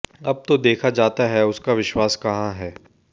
अब तो देखा जाता है उसका विश्वास कहां है